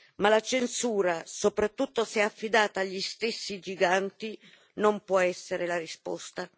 Ma la censura, soprattutto se è affidata agli stessi giganti, non può essere la risposta.